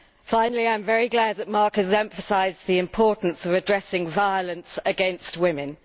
Finally I am very glad that Marc has emphasised the importance of addressing violence against women.